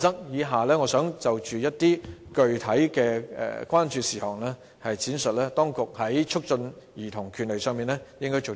以下我想就着具體的關注事項，闡述當局在促進兒童權利上應該做些甚麼。